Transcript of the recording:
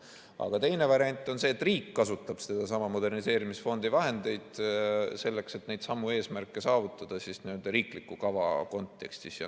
Aga teine variant on see, et riik kasutab moderniseerimisfondi vahendeid selleks, et neidsamu eesmärke saavutada riikliku kava kontekstis.